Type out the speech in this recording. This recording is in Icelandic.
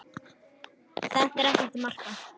Þetta er ekkert að marka.